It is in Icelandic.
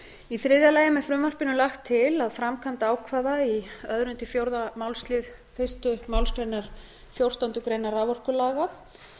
í þriðja lagi er með frumvarpinu lagt til að framkvæmd ákvæða í öðrum til fjórða málsl fyrstu málsgrein fjórtándu greinar raforkulaga